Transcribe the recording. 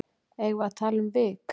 eigum við hægt um vik